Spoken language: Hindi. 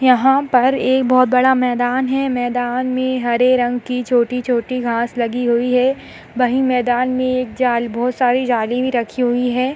यहाँ पर एक बोहोत बड़ा मैदान है। मैदान में हरे रंग की छोटी-छोटी घास लगी हुई है। वहीं मैदान में एक जाल बोहोत सारी जाली भी रखी हुई है।